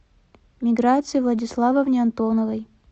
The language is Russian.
миграции владиславовне антоновой